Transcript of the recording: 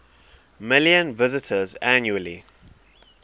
million visitors annually